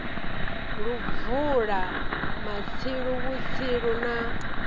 lu bvula matsilu vhutsilu lu